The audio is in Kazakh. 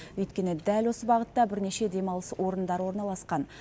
өйткені дәл осы бағытта бірнеше демалыс орндары орналасқан